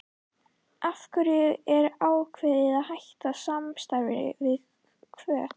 Af hverju var ákveðið að hætta samstarfinu við Hvöt?